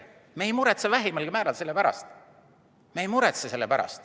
Me ei muretse vähimalgi määral selle pärast.